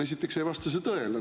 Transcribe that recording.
Esiteks ei vasta see tõele.